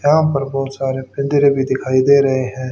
यहां पर बहोत सारे पिंजडे भीं दिखाई दे रहें हैं।